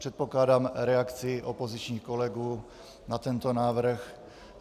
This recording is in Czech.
Předpokládám reakci opozičních kolegů na tento návrh.